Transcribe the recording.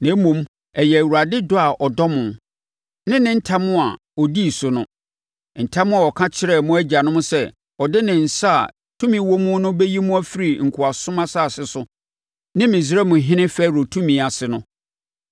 Na mmom, ɛyɛ Awurade dɔ a ɔdɔ mo, ne ne ntam a ɔdii so no: ntam a ɔka kyerɛɛ mo agyanom sɛ ɔde ne nsa a tumi wɔ mu no bɛyi mo afiri nkoasom asase so ne Misraimhene Farao tumi ase no.